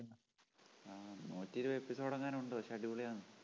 ആ നൂറ്റിയിരുപത് episode എങ്ങാനുമുണ്ട് പക്ഷേ അടിപൊളിയാണ്